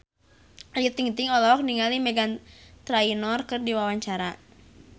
Ayu Ting-ting olohok ningali Meghan Trainor keur diwawancara